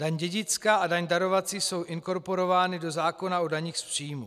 Daň dědická a daň darovací jsou inkorporovány do zákona o daních z příjmů.